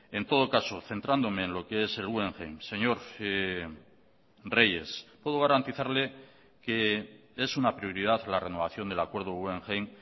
en todo caso centrándome en lo que es el guggenheim señor reyes puedo garantizarle que es una prioridad la renovación del acuerdo guggenheim